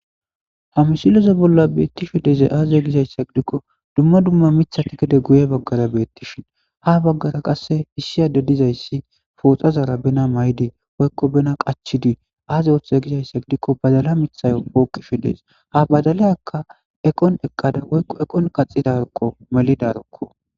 Ha misileza bolla beetishe de'izay aze gizaysa gidiko duma duma mithati gede guye bagara beetishin ha bagara qase issi addezi de'izaysi pooxazara bena mayidi woyko pooxazara bena qachidi aazi oothize gizaysa gidiko badala mithayo pooqishe dees ha badaliyaka eqon eqdqda woylo eqon kaxidaroko woyko melidaro